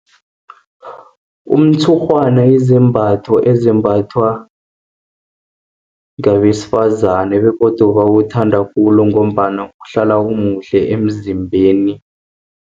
Umtshurhwana yizimbatho ezimbathwa ngewesifazane, begodu bawuthanda khulu, ngombana uhlala omuhle emzimbeni.